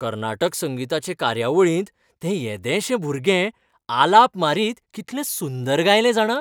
कर्नाटक संगीताचे कार्यावळींत तें येदेशें भुरगें आलाप मारीत कितलें सुंदर गायलें जाणा.